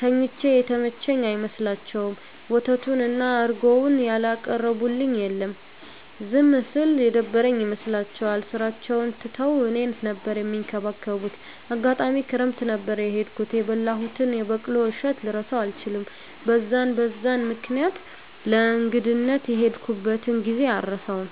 ተኝቼ የተመቸኝ አይመስላቸዉም፣ ወተቱን እና እረጎዉን ያላቀረቡልኝ የለም። ዝም ስል የደበረኝ ይመስላቸዋል ስራቸዉን ትተዉ እኔን ነበር እሚንከባከቡት፣ አጋጣሚ ክረምት ነበር የሄድኩት የበላሁትን የበቆሎ እሸት ልረሳዉ አልችልም። በዛን በዛን ምክኒያት ለእንግድነት የሄድኩበትን ጊዜ አረሳዉም።